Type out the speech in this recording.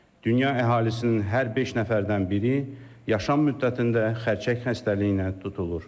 Dünya əhalisinin hər beş nəfərdən biri yaşam müddətində xərçəng xəstəliyinə tutulur.